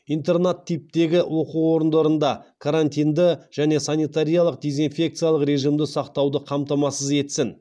интернат типіндегі оқу орындарында карантинді және санитариялық дезинфекциялық режимді сақтауды қамтамасыз етсін